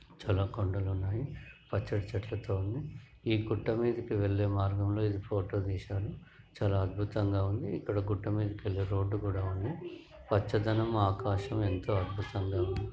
చాలా కొండలున్నాయి. పచ్చటి చెట్లతోని ఈ గుట్ట మీదికి వెళ్ళే మార్గంలో ఇది ఫొటో తీశారు. చాలా అద్భుతంగా ఉంది. ఇక్కడ గుట్ట మీదికెళ్ళే రోడ్డు కూడా ఉంది. పచ్చదనం ఆకాశం ఎంతో అద్భుతంగా ఉంది.